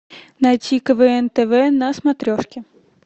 найти квн тв на смотрешке